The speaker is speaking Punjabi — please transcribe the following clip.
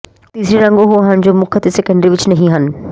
ਤੀਸਰੇ ਰੰਗ ਉਹ ਹਨ ਜੋ ਮੁੱਖ ਅਤੇ ਸੈਕੰਡਰੀ ਵਿਚ ਨਹੀਂ ਹਨ